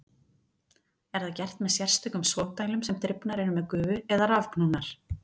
Er það gert með sérstökum sogdælum sem drifnar eru með gufu eða rafknúnar.